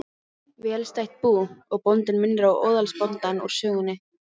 Velstætt bú, og bóndinn minnir á óðalsbóndann úr sögunni.